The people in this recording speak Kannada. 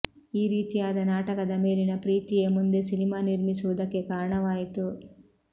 ಈ ರೀತಿಯಾದ ನಾಟಕದ ಮೇಲಿನ ಪ್ರೀತಿಯೇ ಮುಂದೆ ಸಿನಿಮಾ ನಿರ್ಮಿಸುವುದಕ್ಕೆ ಕಾರಣವಾಯಿತು